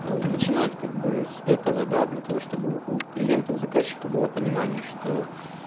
ээ начинать как бы с этого да для того чтобы у клиента у заказчика было понимание что